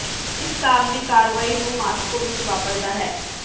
ਇਸ ਕੰਮ ਦੀ ਕਾਰਵਾਈ ਨੂੰ ਮਾਸਕੋ ਵਿਚ ਵਾਪਰਦਾ ਹੈ